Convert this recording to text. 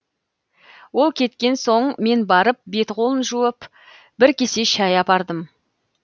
ол кеткен соң мен барып беті қолын жуып бір кесе шәй апардым